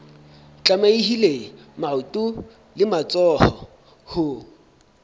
tlamehile maoto le matsoho ho